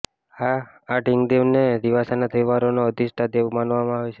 આ ઢીંગદેવને દિવાસાના તહેવારનો અધિષ્ઠાતા દેવ માનવામાં આવે છે